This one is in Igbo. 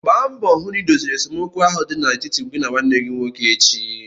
Gba mbọ hụ na idoziri esemokwu ahụ dị n'etiti gị na nwanne gị nwoke echi!